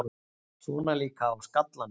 Svona líka á skallanum!